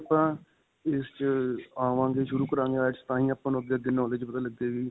ਜੇ ਆਪਾਂ ਇਸ 'ਚ ਆਵਾਂਗੇ ਸ਼ੁਰੂ ਕਰਾਂਗੇ IELTS ਤਾਂਹੀ ਆਪਾਂ ਨੂੰ ਅੱਗੇ-ਅੱਗੇ knowledge ਪਤਾ ਲੱਗੇਗੀ.